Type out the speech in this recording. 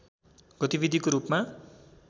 गतिविधिको रूपमा